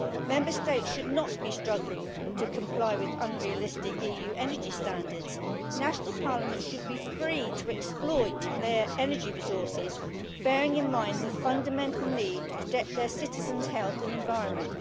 Member States should not be struggling to comply with unrealistic EU energy standards. National parliaments should be free to exploit their energy resources, bearing in mind the fundamental need to protect their citizens' health and the environment.